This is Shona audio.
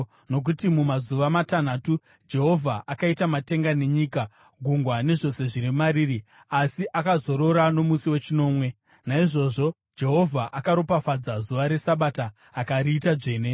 Nokuti mumazuva matanhatu Jehovha akaita matenga nenyika, gungwa, nezvose zviri mariri, asi akazorora nomusi wechinomwe. Naizvozvo Jehovha akaropafadza zuva reSabata akariita dzvene.